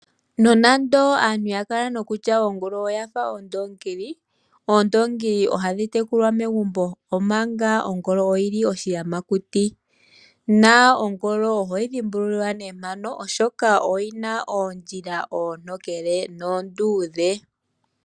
Nonando aantu yakala nokutya ongolo oyafa ondoongili, oondoongili ohadhi tekulwa megumbo omanga ongolo oyili oshiyamakuti, na ongolo ohoyi dhimbulula ne mpano oshoka oyina oondjila oontokele noonduudhe.